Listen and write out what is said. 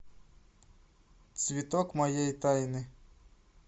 цветок моей тайны